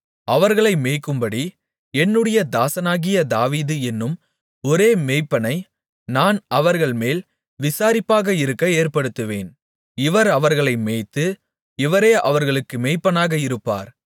அவர்களை மேய்க்கும்படி என்னுடைய தாசனாகிய தாவீது என்னும் ஒரே மேய்ப்பனை நான் அவர்கள்மேல் விசாரிப்பாக இருக்க ஏற்படுத்துவேன் இவர் அவர்களை மேய்த்து இவரே அவர்களுக்கு மேய்ப்பனாக இருப்பார்